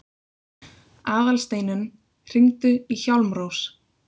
Aðalsteinunn, hringdu í Hjálmrós.